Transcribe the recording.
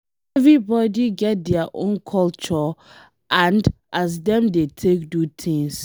Everybody get dia own culture and as dem dey take do things.